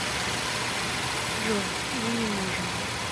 джой мы не можем